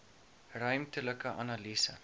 ruimtelike analise